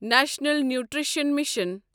national nutrition mission